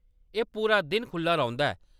एह्‌‌ पूरा दिन खुʼल्ला रौंह्‌‌‌दा ऐ।